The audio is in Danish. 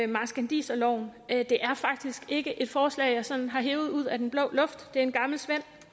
marskandiserloven at det faktisk ikke er et forslag jeg sådan har hevet ud af den blå luft det er en gammel svend